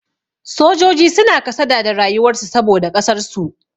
Sojoji suna kasada da rayuwar su saboda ƙasar su.